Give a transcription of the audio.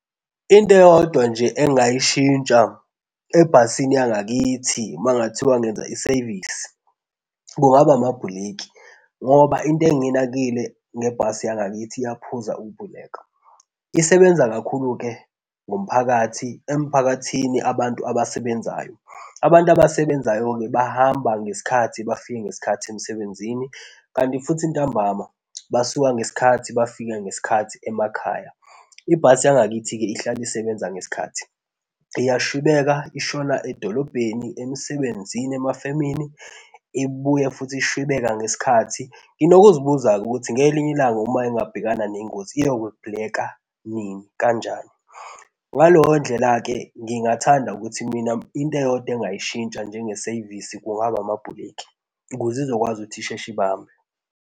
Into eyodwa nje engingayishintsha ebhasini yangakithi makungathiwa ngenza isevisi kungaba amabhuliki, ngoba into engiyinakile ngebhasi yangakithi iyaphuza ukuvuleka. Isebenza kakhulu-ke ngomphakathi emphakathini abantu abasebenzayo. Abantu abasebenzayo-ke bahamba ngesikhathi bafike ngesikhathi emsebenzini kanti futhi ntambama basuka ngesikhathi bafike ngesikhathi emakhaya. Ibhasi yangakithi-ke ihlale isebenza ngesikhathi. Iyashwibeka, ishona edolobheni emsebenzini emafemini ibuye futhi ishwibeka ngesikhathi. Ngino kuzibuza-ke ukuthi ngelinye ilanga, uma ingabhekana nengozi iyo kubhulika nini, kanjani. Ngaleyo ndlela-ke ngingathanda ukuthi mina into eyodwa engingayishintsha njenge sevisi kungaba amabhuleki ukuze izokwazi ukuthi isheshe ibambe.